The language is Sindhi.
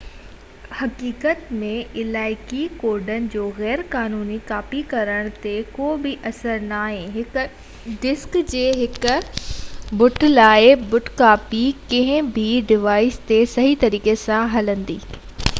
حقيقت ۾ علائقي ڪوڊن جو غير قانوني ڪاپي ڪرڻ تي ڪوبه اثر ناهي هڪ ڊسڪ جي هڪ بٽ-لاءِ-بٽ ڪاپي ڪنهن به ڊوائيس تي صحيح طريقي سان هلندي جيئن اصلي هلندي